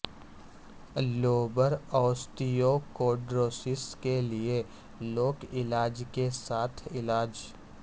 لوبر osteochondrosis کے لئے لوک علاج کے ساتھ علاج